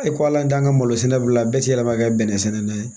E ko ala t'an ka malo sɛnɛ bila bɛɛ ti yɛlɛma kɛ bɛnɛ sɛnɛla ye